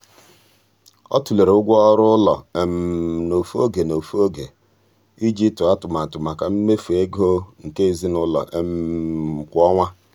ọ tụlere ụgwọ ọrụ ụlọ n'ofe oge n'ofe oge iji tụọ atụmatụ maka mmefu ego nke ezinụụlọ kwa ọnwa.